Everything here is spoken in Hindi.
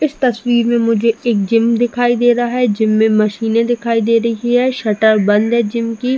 इस तस्वीर में मुझे एक जीम दिखाई दे रहा है। जिम में मशीने दिखाई दे रही है। शटर बंद है जिम की।